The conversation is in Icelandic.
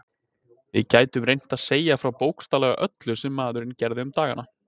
Við gætum reynt að segja frá bókstaflega öllu sem maðurinn gerði um dagana.